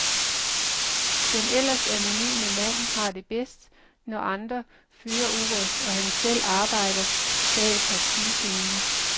Den ellers anonyme mand har det bedst, når andre fører ordet, og han selv arbejder bag partiscenen.